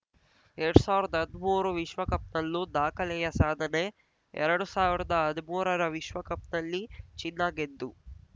ಎರಡ್ ಸಾವ್ರದ್ ಹದ್ಮೂರು ವಿಶ್ವಕಪ್‌ನಲ್ಲೂ ದಾಖಲೆಯ ಸಾಧನೆ ಎರಡ್ ಸಾವ್ರದ್ ಹದ್ಮೂರ ವಿಶ್ವಕಪ್‌ನಲ್ಲಿ ಚಿನ್ನ ಗೆದ್ದು